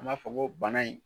An b'a fɔ ko bana in